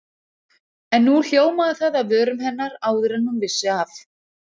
En nú hljómaði það af vörum hennar áður en hún vissi af.